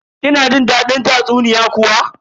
Kina jin dadin tatsuniya kuwa?